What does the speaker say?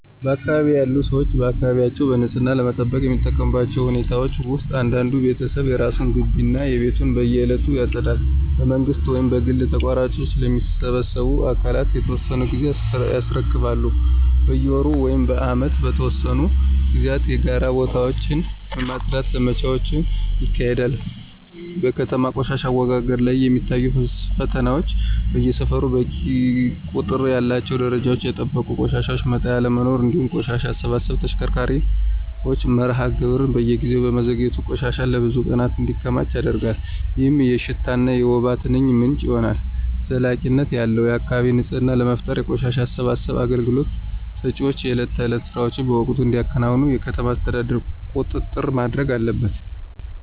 በአካባቢዬ ያሉ ሰዎች አካባቢያቸውን በንጽህና ለመጠበቅ የሚጠቀሙባቸው ሁኔታዎች ውስጥ እያንዳንዱ ቤተሰብ የራሱን ግቢ እና ቤቱን በየዕለቱ ያጸዳል። በመንግሥት ወይም በግል ተቋራጮች ለሚሰበስቡ አካላት በየተወሰነ ጊዜ ያስረክባሉ። በየወሩ ወይም በዓመት በተወሰኑ ጊዜያት የጋራ ቦታዎችን የማፅዳት ዘመቻዎች ይካሄዳሉ። በከተማ ቆሻሻ አወጋገድ ላይ የሚታዩት ፈተናዎች በየሰፈሩ በቂ ቁጥር ያላቸውና ደረጃቸውን የጠበቁ የቆሻሻ መጣያ አለመኖር፤ እንዲሁም የቆሻሻ አሰባሰብ ተሽከርካሪዎች መርሃ ግብር በየጊዜው በመዘግየቱ ቆሻሻ ለብዙ ቀናት እንዲከማች ያደርጋል፣ ይህም የሽታና የወባ ትንኝ ምንጭ ይሆናል። ዘላቂነት ያለው የአካባቢ ንፅህና ለመፍጠር የቆሻሻ አሰባሰብ አገልግሎት ሰጪዎች የዕለት ተዕለት ሥራቸውን በወቅቱ እንዲያከናውኑ የከተማ አስተዳደሩ ቁጥጥር ማድረግ አለበት።